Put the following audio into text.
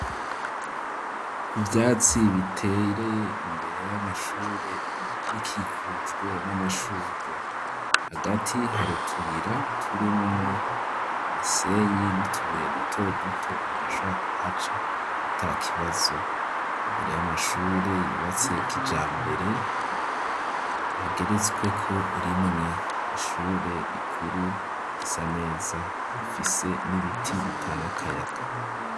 Ivyatsi bitereye imbere y'amashure bikikujwe n'amashurwe hagati hari utuyira turimwo imisenyi n'utubuye duto duto umuntu ashabora ku haca atakibazo imbere y'amashure yubatse kijambere ageretsweko rimwe ishure rikuru risa neza rifise n'ibiti bitanga akayaga.